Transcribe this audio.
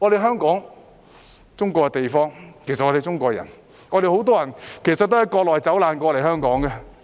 香港是中國的地方，我們都是中國人，很多人也是從國內走難來港的。